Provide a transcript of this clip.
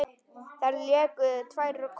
Þeir léku tvær kotrur.